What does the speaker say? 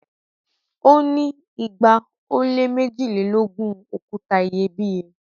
o ni igba o le mejilelogun okuta iyebiye